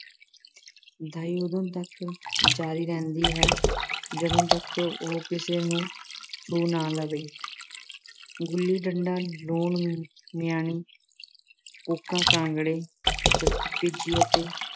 ਦਾਈ ਉਦੋਂ ਤੱਕ ਜਾਰੀ ਰਹਿੰਦੀ ਹੈ ਜਦ ਤੱਕ ਉਹ ਕਿਸੇ ਨੂੰ ਛੂਹ ਨਾ ਲਵੇ। ਗੁੱਲੀ-ਡੰਡਾ, ਲੂਣ-ਮਿਆਣੀ , ਕੂਕਾਂ-ਕਾਂਗੜੇ, ਸੱਕਰ-ਭਿੱਜੀ ਅਤੇ